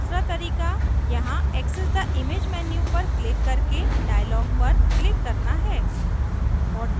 दूसरा तरीका यहाँ access the image menu पर click करके dialogs पर click करना है